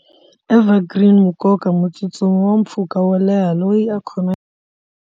Ever green nkoka mutsutsumi wa mpfhuka wo leha loyi a khomaka.